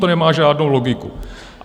To nemá žádnou logiku!